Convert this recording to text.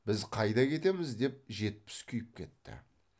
біз қайда кетеміз деп жетпіс күйіп кетті